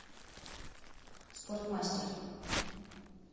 спортмастер